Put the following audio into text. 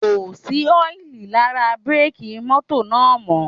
Kò sí ọ́ìlì lára bírèkì mọ́tò náà mọ́